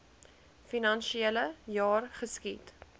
finansiele jaar geskied